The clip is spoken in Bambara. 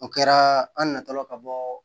O kɛra an natɔla ka bɔ